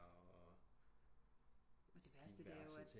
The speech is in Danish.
Og diverse ting